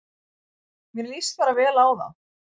Mér líst bara vel á þá